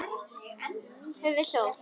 Frænkan hristi höfuðið og hló.